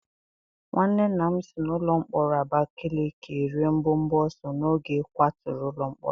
Nwanne nna m si n'ụlọ mkpọrọ Abakaleke rịe mbọbọ ọsọ n'oge a kwatụrụ ụlọ mkpọrọ.